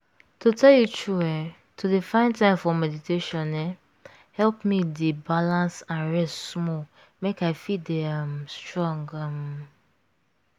to tell you true eeh! to dey find time for meditation um help me dey balance and rest small make i fit dey um strong um.